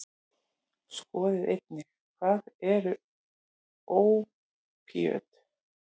Skoðið einnig: Hvað eru ópíöt?